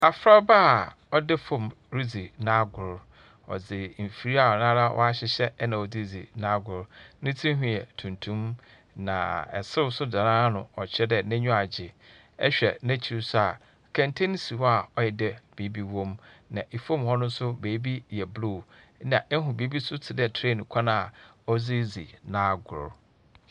Abofraba a ɔda famu ridzi n’agor, na ɔdze mfir a nara ɔahyehyɛ na ɔdze ridzi n’agor. Ne tsinhwi yɛ tuntum na serew so da n’ano, ɔkyerɛ dɛ n’enyiwa agye. Ehwɛ n’ekyir so, kɛntsɛn si hɔ a ɔyɛ dɛ biribi wɔ mu. Na famu hɔ no so, beebi yɛ blue na ihu biribi so tse dɛ train kwan a ɔdze ridzi n’agor.